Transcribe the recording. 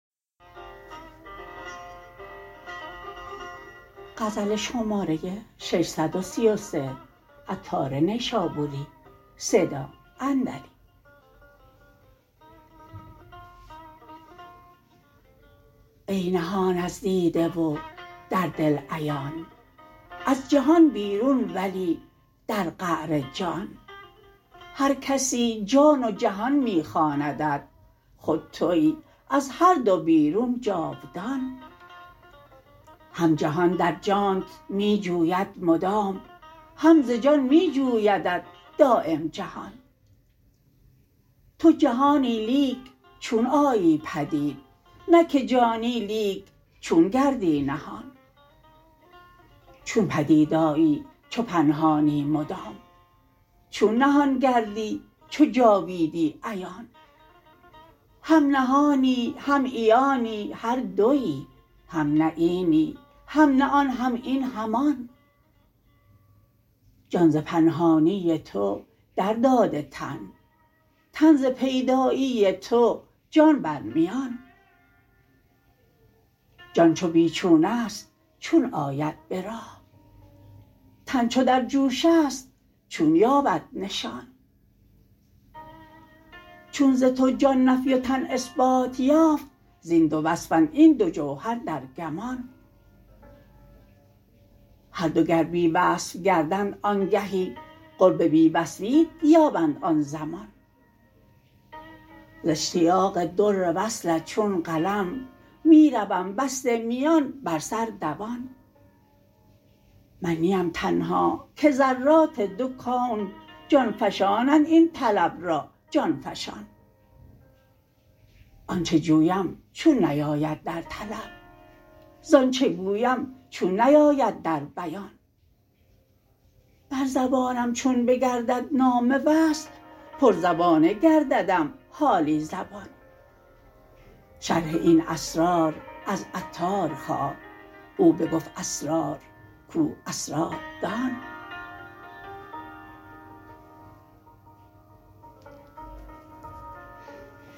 ای نهان از دیده و در دل عیان از جهان بیرون ولی در قعر جان هر کسی جان و جهان می خواندت خود تویی از هر دو بیرون جاودان هم جهان در جانت می جوید مدام هم ز جان می جویدت دایم جهان تو جهانی لیک چون آیی پدید نه که جانی لیک چون گردی نهان چون پدید آیی چو پنهانی مدام چون نهان گردی چو جاویدی عیان هم نهانی هم عیانی هر دویی هم نه اینی هم نه آن هم این هم آن جان ز پنهانی تو در داده تن تن ز پیدایی تو جان بر میان جان چو بی چون است چون آید به راه تن چو در جوش است چون یابد نشان چون ز تو جان نفی و تن اثبات یافت زین دو وصفند این دو جوهر در گمان هر دو گر بی وصف گردند آنگهی قرب بی وصفیت یابند آن زمان ز اشتیاق در وصلت چون قلم می روم بسته میان بر سر دوان من نیم تنها که ذرات دو کون جان فشانند این طلب را جان فشان آن چه جویم چون نیاید در طلب زان چه گویم چون نیاید در بیان بر زبانم چون بگردد نام وصل پر زبانه گرددم حالی زبان شرح این اسرار از عطار خواه او بگفت اسرار کو اسراردان